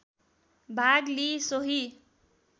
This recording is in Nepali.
भाग लिई सोही